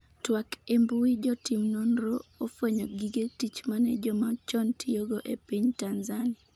twak embui jotim nonro ofwenyo gige tich mane joma chon tiyogo e piny Tanzania